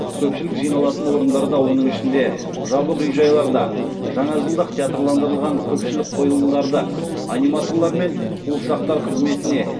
көпшілік жиналатын орындарда оның ішінде жабық үй жайларда жаңажылдық театрландырылған көпшілік қойылымдарды аниматорлар мен қуыршақтар қызметіне